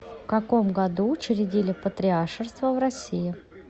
в каком году учредили патриаршество в россии